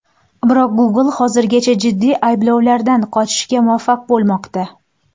Biroq Google hozirgacha jiddiy ayblovlardan qochishga muvaffaq bo‘lmoqda.